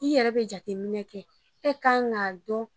I yɛrɛ be jateminɛ kɛ e kan k'a dɔn